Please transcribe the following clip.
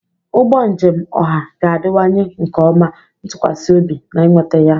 Ụgbọ njem ọha ga-adịwanye nke ọma, ntụkwasị obi, na ịnweta ya.